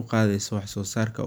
cadaadis.